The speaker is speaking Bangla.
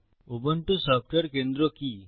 উবুন্টু সফটওয়্যার কেন্দ্র কি